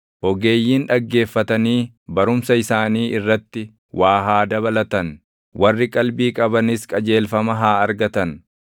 ogeeyyiin dhaggeeffatanii barumsa isaanii irratti waa haa dabalatan; warri qalbii qabanis qajeelfama haa argatan;